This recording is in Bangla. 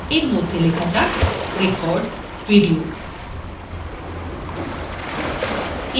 এর মধ্যে লেখা যাক record video